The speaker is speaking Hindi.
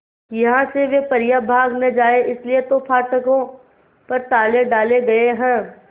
यहां से वे परियां भाग न जाएं इसलिए तो फाटकों पर ताले डाले गए हैं